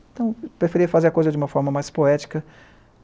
Então, eu preferia fazer a coisa de uma forma mais poética.